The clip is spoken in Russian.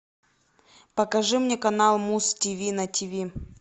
покажи мне канал муз тиви на тиви